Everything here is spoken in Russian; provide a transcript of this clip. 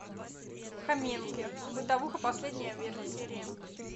хоменки бытовуха последняя серия